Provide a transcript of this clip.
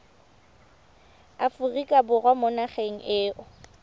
aforika borwa mo nageng eo